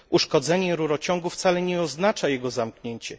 Uszkodzenie rurociągu wcale nie oznacza jego zamknięcie.